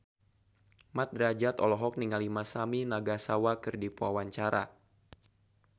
Mat Drajat olohok ningali Masami Nagasawa keur diwawancara